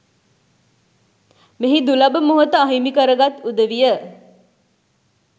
මෙහි දුලබ මොහොත අහිමි කරගත් උදවිය